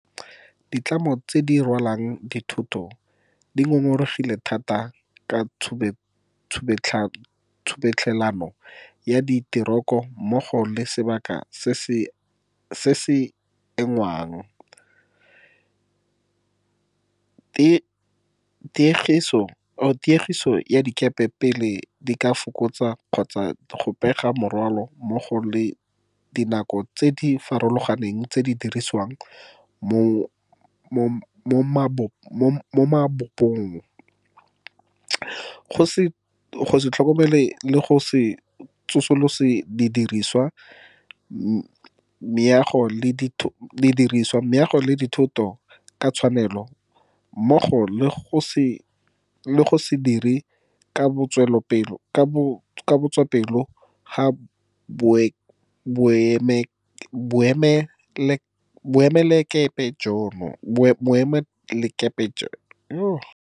Ditlamo tse di rwalang dithoto di ngongoregile thata ka tshubetlhelano ya diteroko mmogo le sebaka se se engwang, tiegiso ya dikepe pele di ka folosa kgotsa go pega morwalo mmogo le dinako tse di farologaneng tse di dirisiwang mo mabopong, go se tlhokomelo le go se tsosolose didirisiwa, meago le dithoto ka tshwanelo mmogo le go se dire ka botswapelo ga boemelakepe jono.